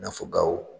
I n'a fɔ gawo